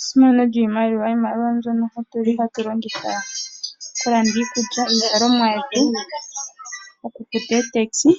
Esimano lyiimaliwa. Iimaliwa oyo mbyono tuli hatu longitha okulanda iikulya niizalomwa yetu, okufuta ootaxi